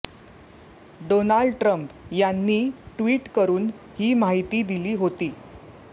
Donald Trump यांनी tweet करून ही माहिती दिली होती